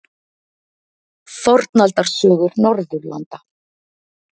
Fornaldarsögur Norðurlanda.